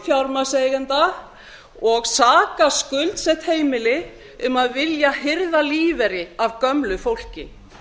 fjármagnseigenda og saka skuldsett heimili um að vilja hirða lífeyri af gömlu fólki